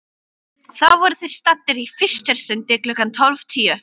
Þá voru þeir staddir í Fischersundi klukkan tólf tíu.